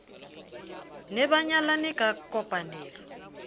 ne ba nyalane ka kopanelo